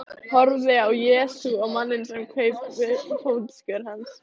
Horfði á Jesú og manninn sem kraup við fótskör hans.